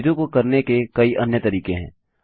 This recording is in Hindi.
चीजों को करने के कई अन्य तरीके हैं